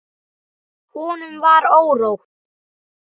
Honum var órótt.